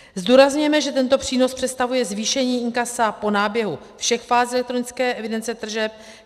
Zdůrazňujeme, že tento přínos představuje zvýšení inkasa po náběhu všech fází elektronické evidence tržeb.